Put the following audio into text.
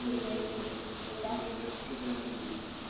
ഇല്ല. ഇല്ല. ഇല്ല. ഇല്ല. ഇല്ല. ഇല്ല. ഒരിക്കലും ഞാൻ അങ്ങനെ ചിന്തിച്ചിട്ടില്ല.